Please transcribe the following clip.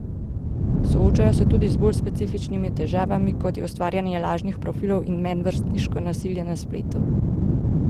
Soočajo se tudi z bolj specifičnimi težavami, kot je ustvarjanje lažnih profilov in medvrstniško nasilje na spletu.